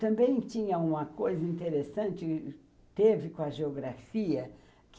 Também tinha uma coisa interessante que teve com a geografia que